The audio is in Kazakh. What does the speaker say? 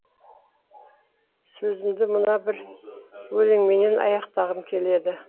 сөзімді мына бір өлеңіммен аяқтағым келеді